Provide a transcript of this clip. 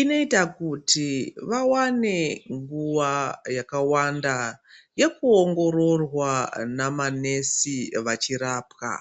Inoita kuti vawane nguwa yakakwanda yekuongororwa namanesi vachirapwa.